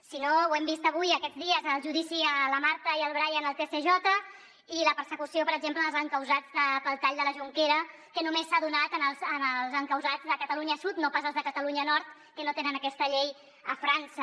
si no ho hem vist avui aquests dies al judici a la marta i al brian al tsj i la persecució per exemple als encausats pel tall de la jonquera que només s’ha donat als encausats de catalunya sud no pas als de catalunya nord que no tenen aquesta llei a frança